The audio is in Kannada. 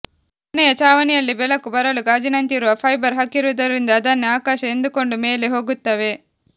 ಮನೆಯ ಚಾವಣಿಯಲ್ಲಿ ಬೆಳಕು ಬರಲು ಗಾಜಿನಂತಿರುವ ಫೈಬರ್ ಹಾಕಿರುವುದರಿಂದ ಅದನ್ನೇ ಆಕಾಶ ಎಂದುಕೊಂಡು ಮೇಲೆ ಹೋಗುತ್ತವೆ